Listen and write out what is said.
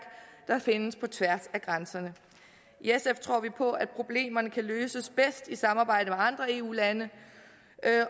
der findes på tværs af grænserne i sf tror vi på at problemerne kan løses bedst i samarbejde med andre eu lande